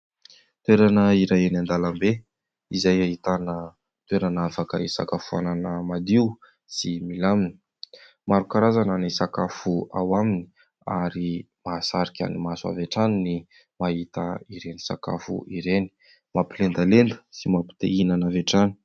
Toerana iray eny an-dalambe, izay ahitana toerana afaka hisakafoanana madio sy milamina; maro karazana ny sakafo ao aminy ary mahasarika ny maso avy hatrany ny mahita ireny sakafo ireny; mampilendalenda sy mampi-te hihinana avy hatrany.